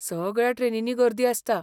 सगळ्या ट्रेनींनी गर्दी आसता.